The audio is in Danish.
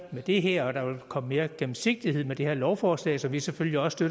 med det her og der vil komme mere gennemsigtighed med det her lovforslag som vi selvfølgelig også